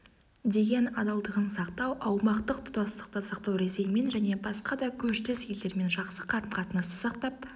деген адалдығын сақтау аумақтық тұтастықты сақтау ресеймен және басқа да көршілес елдермен жақсы қарым-қатынасты сақтап